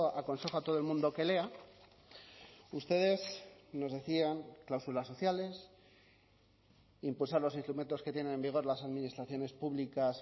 aconsejo a todo el mundo que lea ustedes nos decían cláusulas sociales impulsar los instrumentos que tienen en vigor las administraciones públicas